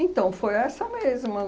Então, foi essa mesma.